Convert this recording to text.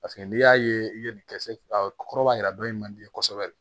Paseke n'i y'a ye i ye nin kɛ se kɔrɔbayara dɔ ye man di kosɛbɛ